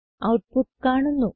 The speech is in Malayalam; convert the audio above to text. ഔട്ട്പുട്ട് കാണുന്നു